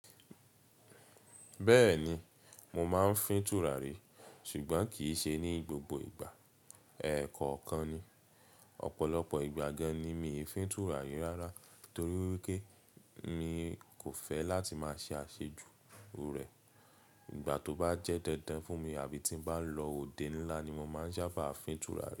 Bẹ́ẹ̀ni, mo máa ń fín tùràrí ṣùgbọ́n kì í ṣe ní gbogbo ìgbà. Ẹ̀ẹ̀kọ̀kan ni. Ọ̀pọ̀lọpọ̀ ìgbà gan-an ni mi ò fín tùràrí rárá torí pé mi kò fẹ́ láti máa ṣe àṣejù rẹ̀. Ìgbà tó bá jẹ́ dandan fún mi àbí tí ń bá lọ òde ńlá ni mo máa ń sábà fín tùràrí.